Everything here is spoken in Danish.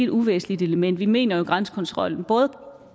uvæsentligt element vi mener jo grænsekontrollen